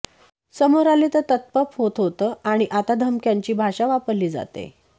समोर आले तर ततपप होतं होतं आणि आता धमक्यांची भाषा वापरली जातेय